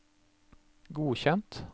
godkjent